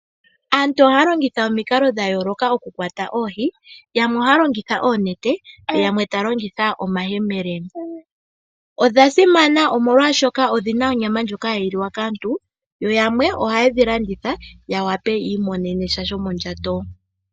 Aantu ohaa longitha omikalo dhayooloka oku kwata oohi yamwe ohaa longitha oonete yo yamwe taa longitha omayemele ,Odha simana omolwaashoka odhina onyama ndjoka hayi liwa kaantu yo yamwe ohayedhi landitha opo yiimonenepo shomondjato.